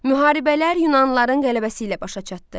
Müharibələr yunanlıların qələbəsi ilə başa çatdı.